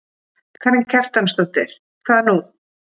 Karen Kjartansdóttir: Hvað nú?